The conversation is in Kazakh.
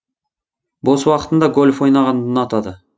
бос уақытында гольф ойнағанды ұнатады